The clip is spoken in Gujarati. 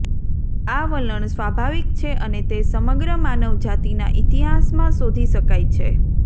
આ વલણ સ્વાભાવિક છે અને તે સમગ્ર માનવજાતિના ઇતિહાસમાં શોધી શકાય છે